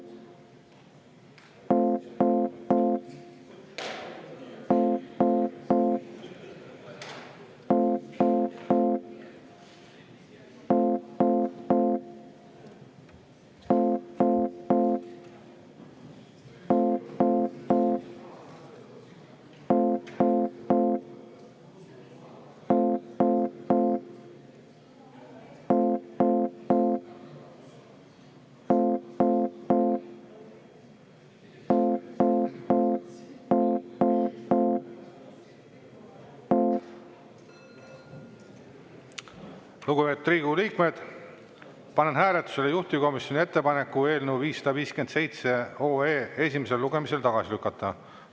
Lugupeetud Riigikogu liikmed, panen hääletusele juhtivkomisjoni ettepaneku eelnõu 557 esimesel lugemisel tagasi lükata.